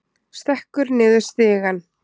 Stekkur niður stigann.